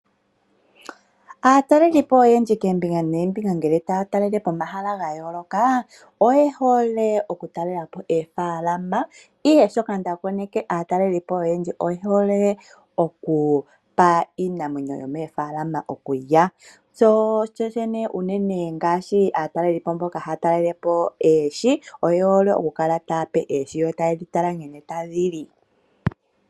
Aatalelipo oyendji koombinga noombinga ngele taya talele po omahala ogendji ga yooloka oye hole okutalela po oofaalama, ihe shoka nda koneka aanafaalama oyendji oye hole okupa iinamwenyo yomoofaalama okulya. Unene ngaashi aatalelipo mboka haya talele po oohi oye hole okukala taya pe oohi okulya yo taye dhi tala nkene tadhi li.